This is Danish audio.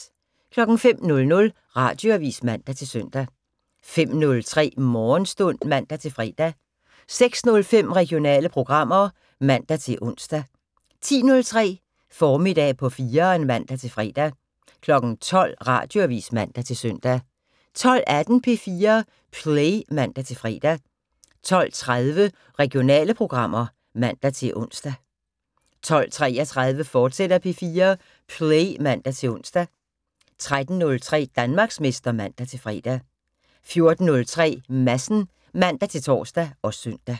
05:00: Radioavis (man-søn) 05:03: Morgenstund (man-fre) 06:05: Regionale programmer (man-ons) 10:03: Formiddag på 4'eren (man-fre) 12:00: Radioavis (man-søn) 12:18: P4 Play (man-fre) 12:30: Regionale programmer (man-ons) 12:33: P4 Play, fortsat (man-ons) 13:03: Danmarksmester (man-fre) 14:03: Madsen (man-tor og søn)